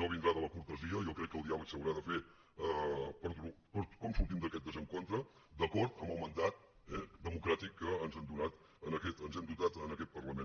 no vindrà de la cortesia jo crec que el diàleg s’haurà de fer per com sortim d’aquest desencontre d’acord amb el mandat democràtic amb què ens hem dotat en aquest parlament